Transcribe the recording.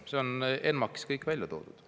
See on ENMAK-is kõik välja toodud.